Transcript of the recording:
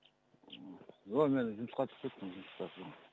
жоқ мен жұмысқа түсіп кеттім